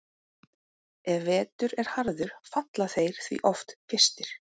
Ef vetur er harður falla þeir því oft fyrstir.